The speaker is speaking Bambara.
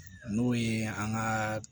N'o ye an ka